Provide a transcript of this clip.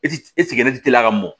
E ti e sɛgɛnnen teliman mɔn